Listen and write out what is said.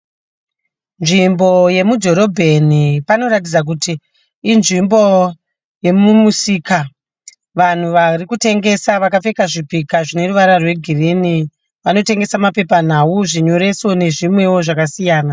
Nzvimbo yemudhororobheni panoratidza kuti inzvimbo yemumusika vanhu vari kutengesa vakapfeka nhumbi dzine ruvara rwegirini vanotengesa mapepanhau, zvinyoreso nezvimwewo zvakasiyana.